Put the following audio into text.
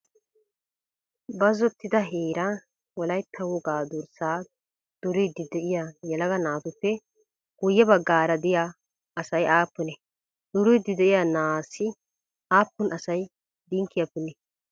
Bazzottida heeran Wolaytta wogaa durssaa duriiddi de'iyaa yelaga naatuppe guyye baggaara de'iyaa asay aappunee? Duriiddi de'iyaa na'aassi aappun asay dinkkiyaa punnii?